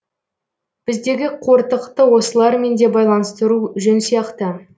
біздегі қортықты осылармен де байланыстыру жөн сияқты